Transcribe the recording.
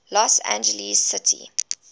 los angeles city